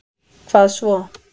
Hvað svo.